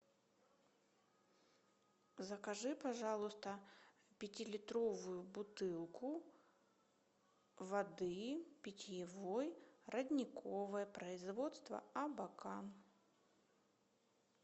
закажи пожалуйста пятилитровую бутылку воды питьевой родниковой производство абакан